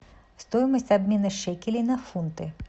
стоимость обмена шекелей на фунты